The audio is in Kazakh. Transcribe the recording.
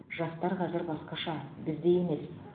жастар қазір басқаша біздей емес